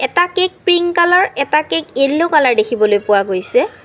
এটা cake pink colour এটা cake yellow colour দেখিবলৈ পোৱা গৈছে।